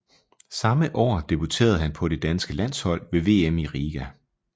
Samme år debuterede han på det danske landshold ved VM i Riga